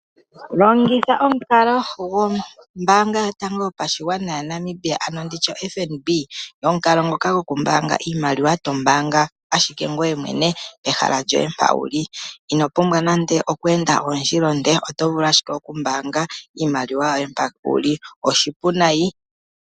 Longitha omukalo gwombanga yotango yopashigwana ya Namibia ano nditye oFNB, omukalo ngoka goku mbanga iimaliwa to mbanga ashike ngweye mwene pehala lyoye mpa wuli ino pumbwa nande oku enda ondjila onde oto vulu ashike okumbanga iimaliwa yoye mpa wuli oshipu nayi.